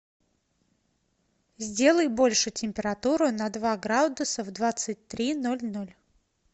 сделай больше температуру на два градуса в двадцать три ноль ноль